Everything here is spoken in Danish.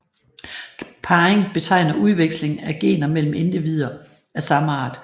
Parring betegner udveksling af gener mellem individer af samme art